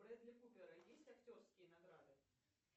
у брэдли купера есть актерские награды